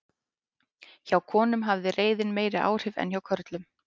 Hjá konum hafði reiðin meiri áhrif en hjá körlum.